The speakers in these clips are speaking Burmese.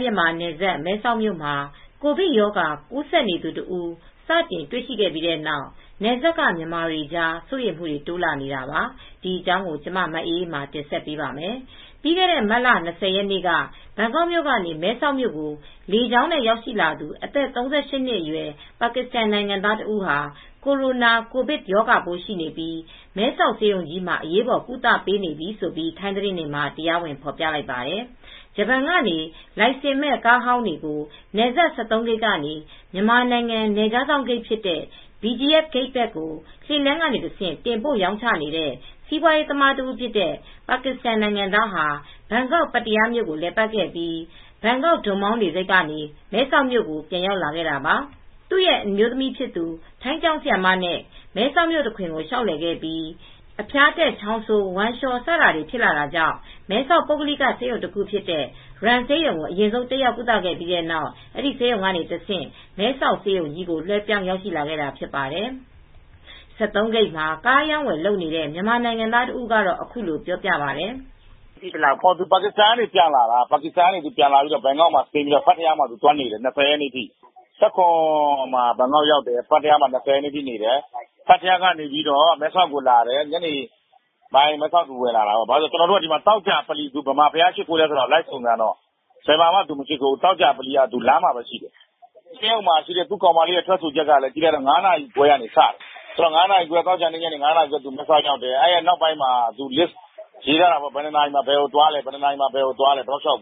မြန်မာနယ်စပ် မဲဆောက်မြို့မှာ ကိုဗစ်ရောဂါ ကူးစက်နေသူ တဦး စတင်တွေ့ရှိပြီးတဲ့နောက် နယ်စပ်ကမြန်မာတွေကြား စိုးရိမ်မူတွေ တိုးလာနေတာပါ။ ဒီအကြောင်းကိုကျမ မအေးအေးမာ တင်ဆက်ပေးပါမယ်။ ပြီးခဲ့တဲ့ မတ်လ ၂၀ ရက်နေ့က ဘန်ကောက်ကနေ မဲဆောက်မြို့ကို လေကြောင်းနဲ့ ရောက် ရှိလာသူ အသက် ၃၈ နှစ်အရွယ် ပါကစ္စတန် နိုင်ငံသား တဦးဟာ ကိုရိုနာ(ကိုဗစ်)ရောဂါပိုး ရှိနေပြီး မဲဆောက်ဆေးရုံကြီးမှာ အရေးပေါ် ကုသပေးနေပြီလို့ ထိုင်းသတင်းတွေမှာ တရားဝင် ဖော်ပြလိုက်ပါတယ်။ ဂျပန်ကနေ လိုင်စင်မဲ့ ကားအဟောင်းတွေကို နယ်စပ် ၁၃ ဂိတ်ကနေ မြန်မာနိုင်ငံနယ်ခြားစောင့် ဂိတ်ဖြစ်တဲ့ BGF ဂိတ်ဘက်ကို လှေလမ်းတွေက တဆင့်တင်ပို့ ရောင်းနေတဲ့စီးပွားရေး သမား တဦးဖြစ်တဲ့ ပါကစ္စတန် နိုင်ငံသားဟာ ဘန်ကောက်ပတ္တရာမြို့ကို လည်ပတ်ခဲ့ပြီး ဘန်ကောက် ဒွန်မောင်းလေဆိပ်ကနေ မဲဆောက်ကို ပြန်ရောက်လာတာပါ။ သူရဲ့ အမျိုးသမီးဖြစ်သူ ထိုင်းကျောင်းဆရာမနဲ့မဲဆောက်မြို့တခွင်ကို လျှောက်လည်ခဲ့ပြီး အဖျားတက် ချောင်းဆိုး ဝမ်းလျှောစတာတွေ ဖြစ်လာတာကြောင့် မဲဆောက်ပုဂ္ဂလိက ဆေးရုံ တခုဖြစ်တဲ့ RAM ဆေးရုံကို အရင်ဆုံးတက်ရောက်ကုသခဲ့ပြီး နောက်အဲဒီဆေးရုံကနေတဆင့် မဲဆောက်ဆေးရုံကြီးကို လွှဲပြောင်းရောက်ရှိလာခဲ့တာ ဖြစ်ပါတယ်။ ၁၃ ဂိတ်မှာ ကားအရောင်းအဝယ် လုပ်နေတဲ့ မြန်မာနိုင်ငံသား တဦးကတော့ အခုလိုပြောပြပါတယ်။ "ပါကစ္စတန်က ပြန်လာတာ ဘန်ကောက်မှာ ဆင်းပြီး ပတ္တရားမှာသွားနေတာ ပထရာက နေ ၂၀ ရက်နေ့ထိနေပြီး ကျနော်တို့က သောကြာဗလီမှာ ဘယ်မှာ သွားရှစ်ခိုးလဲ လိုက်စုံစမ်းတော့ ဗလီမှာ မရှစ်ခိုးသေးဘူး... လမ်းမှာပဲ ရှိသေးတယ်။ ဆေးရုံမှာရှိတဲ့ သူ့ကောင်မလေးကိုမေးတော့ သူက ဘယ်နေရာသွားလဲဆိုတော့ ၅ နာရီခွဲက စတယ်၊ ဘယ်နှစ်နာရီမှာဘယ်ကိုသွားလဲဆိုတာ ရေးထားတယ်။ ကျနော်တို့ ဂိတ်အ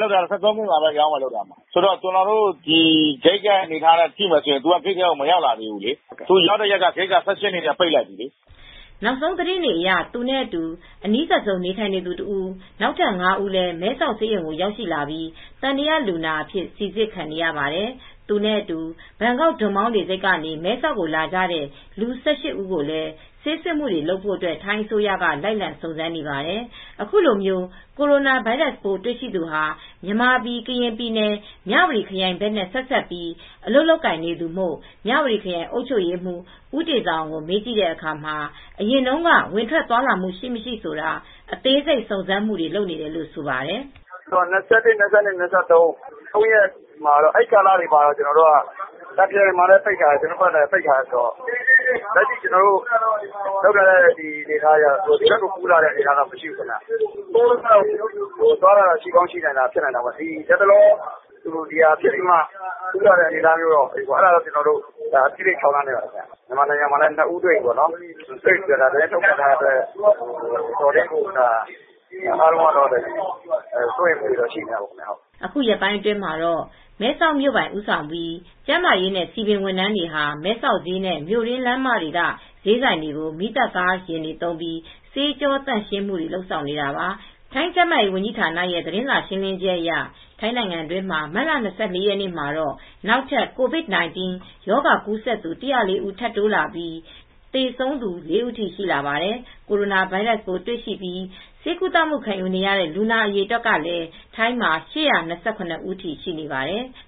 နေအထားကို ကြည့်တော့ သူက ဂိတ်ကို မရောက်လာသေးဘူး။ သူမရောက်ခင် ဂိတ်က ၁၈ ရက်နေ့ထဲက ပိတ်လိုက်ပြီ။" နောက်ဆုံးသတင်းအရ သူနဲ့အတူ အနီးဆုံး နေထိုင်သူ တဦးနဲ့အတူ နောက်ထပ် ငါး ဦးလည်း မဲဆောက်ဆေးရုံ ရောက်လာပြီး သံသယလူနာအဖြစ် စိစစ်ခံနေရပါတယ်။ သူနဲ့အတူ ဘန်ကောက် ဒွန်မောင်းလေဆိပ်ကနေ မဲဆောက်ကို လာကြတဲ့ လူ ၁၈ ဦးကိုလည်း ဆေးစစ်ဆေးမှုတွေ လုပ်ဖို့ ထိုင်းအစိုးရက လိုက်လံ စုံစမ်းနေပါတယ်။ အခု ကိုရိုနာဗိုင်းရပ်စ်ပိုးတွေ့ရှိသူဟာ မြန်မာပြည် ကရင်ပြည်နယ် မြဝတီခရိုင်ဘက်နဲ့ ဆက်စပ်ပြီး အလုပ်လုပ်ကိုင်နေသူမို့ မြဝတီခရိုင်အုပ်ချုပ်ရေးမှူး ဦးတေဇာအောင်ကို မေးကြည့်တဲ့အခါမှာ အရင်တုန်းက ဝင်ထွက်သွားလာမှု ရှိ၊ မရှိဆိုတာအသေးစိတ် စုံစမ်းမှုတွေလုပ်နေတယ်လို့ ဆိုပါတယ်။ "မတ်လ၂၁၊ ၂၂၊ ၂၃ စတဲ့ သုံးရက်ကတော့ ကာလတွေမှာတော့ တာ့ခရိုင်မှာလည်း ပိတ်ထားတယ်။ ကျနော်တို့ဘက်ကလည်း ပိတ်ထားတယ်။ အဲဒီတော့ ကျနော်တို့ လုပ်ထားတဲ့အနေအထားအရ ဒီဘက်ကိုကူးလာတဲ့ အနေအထားတော့ မရှိဘူးခင်ဗျ။ ဒါပေမဲ့ အရင်က ဝင်ဘူးသလားဆိုတာ မသိနိုင်ဘူးပေါ့လေ။ လတ်တလော အနေအထားအရတော့ ကျနော်တို့ အသေးစိတ် စုံစမ်းစစ်ဆေးမှုတွေ လုပ်နေပါတယ်။ မြန်မာနိုင်ငံမှာလည်း နှစ်ဦးတွေ့ပြီလို့သတင်းထုတ်ပြန်ထားတဲ့အတွက် အားလုံးက တော်တော်ကို စိုးရိမ်ပူပန်မှု ရှိနေကြပါတယ်။" အခု ရက်ပိုင်းအတွင်းမှာတော့ မဲဆောက်မြို့ပိုင် ဦးဆောင်ပြီး ကျန်းမာရေးနဲ့ စည်ပင်ဝန်ထမ်းတွေဟာ မဲဆောက်ဈေးနဲ့ မြို့တွင်းလမ်းမက ဈေးဆိုင်တွေကို မီးသတ်ကား ယာဉ်တွေ သုံးပြီး ဆေးကြောသန့်ရှင်းရေးတွေ လုပ်ဆောင်နေတာပါ။ ထိုင်းကျန်းမာရေးဝန်ကြီး ဌာနရဲ့ သတင်းစာရှင်းလင်းချက်အရ ထိုင်းနိုင်ငံတွင်း မတ်လ ၂၄ ရက်နေ့မှာ နောက်ထပ် COVID-19 ရောဂါကူးစက်သူု ၁၀၄ ဦး ထပ်တိုးလာပြီး သေဆုံး လေးဦးထိ ရှိလာပါတယ်။ကိုရိုနာဗိုင်းရပ်စ်ပိုး တွေ့ရှိပြီး ဆေးကုသမှုခံနေတဲ့ လူနာအရေအတွက်ကလည်း ထိုင်းမှာ ၈၂၇ ဦး အထိ ရှိနေပါတယ်။